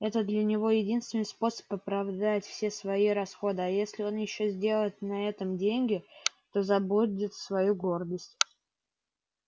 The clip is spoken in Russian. это для него единственный способ оправдать все свои расходы а если он ещё сделает на этом деньги то забудет свою гордость